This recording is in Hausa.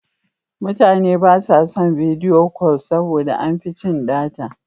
Mutane ba sa son bidiyo kol saboda da an fi cin data.